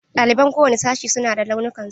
Ɗaliban kowane sashi su na da launukan su.